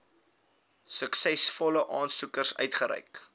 suksesvolle aansoekers uitgereik